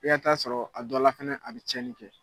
F'i ka taa sɔrɔ a dɔ la fɛnɛ a bɛ cɛnni kɛ.